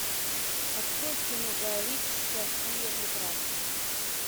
открой кино гая ричи софия прекрасная